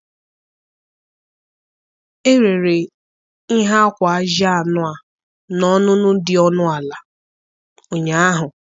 Erere ihe akwa ajị anụ a n'ọnụ ọnụ dị ọnụ ala ụnyaahụ